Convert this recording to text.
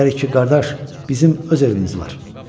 Deyərik ki, qardaş, bizim öz evimiz var.